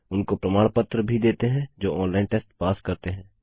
उनको प्रमाण पत्र भी देते हैं जो ऑनलाइन टेस्ट पास करते हैं